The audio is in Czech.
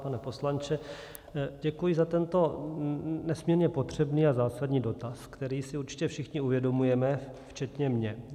Pane poslanče, děkuji za tento nesmírně potřebný a zásadní dotaz, který si určitě všichni uvědomujeme, včetně mě.